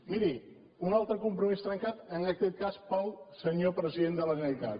miri un altre compromís trencat en aquest cas pel senyor president de la generalitat